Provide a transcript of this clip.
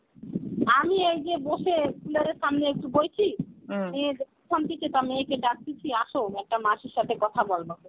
আমি এই যে বসে cooler সামনে একটু বইছি মেয়ের মেয়েকে ডাকিছি আস একটা মাসির সাথে কথা বলবো.